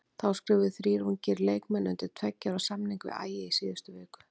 Þá skrifuðu þrír ungir leikmenn undir tveggja ára samning við Ægi í síðustu viku.